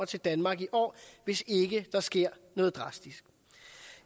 til danmark i år hvis ikke der sker noget drastisk